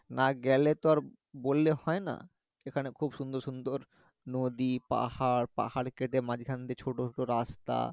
না গেলে তো বললে হয় না এখানে খুব সুন্দর সুন্দর নদী পাহাড় পাহাড় কেটে মাঝখান দিয়ে ছোট ছোট রাস্তা